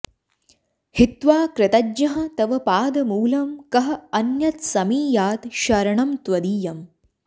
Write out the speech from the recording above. हित्वा कृतज्ञः तव पादमूलम् कः अन्यत् समीयात् शरणं त्वदीयम्